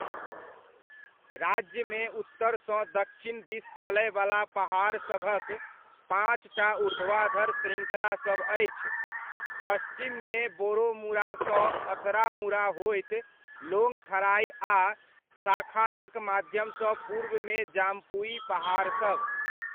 राज्यमे उत्तरसँ दक्षिण दिस चलयवला पहाड़सभक पाँचटा ऊर्ध्वाधर श्रृङ्खलासभ अछि, पश्चिममे बोरोमुरासँ अथरामुरा होइत लोंगथराइ आ शखानक माध्यमसँ पूर्वमे जाम्पुइ पहाड़सभ।